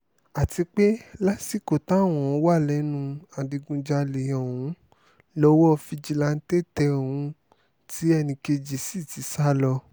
àti pé lásìkò táwọn wà lẹ́nu ìdígunjalè ọ̀hún lowó fìjìláńtẹ́ tẹ òun tí ẹnì kejì sì ti sá lọ